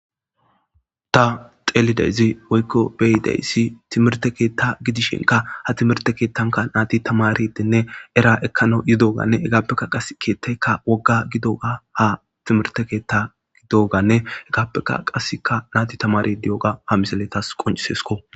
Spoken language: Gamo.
ta xeelidayzi woykko beyidayssi timirte keetta gidishenka ha timirte keettanka naati tamaridinne era ekkano yidoganne hegaappekka qas keetteka wogga gidoga ha timirte keetta gidoganne hegaappeka qaseka naati tamaridioga ha miseletas qoncisesko